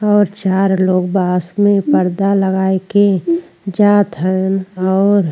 और चार लोग बास में पर्दा लगाई के जात हैन और --